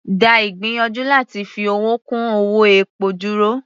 Dá ìgbìyànjú láti fi owó kún owó epo dúró.